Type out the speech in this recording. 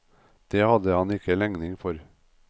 Det hadde han ikke legning for.